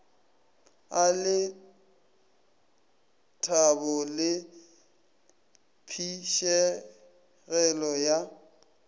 a lethabo le phišegelo ya